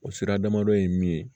O sira damadɔ ye min ye